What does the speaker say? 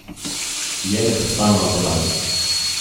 Je neprestano napadalna.